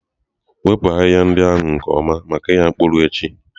Wepụ ahịhịa ndị ahụ nke ọma maka ịgha mkpụrụ echi.